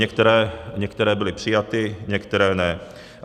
Některé byly přijaty, některé ne.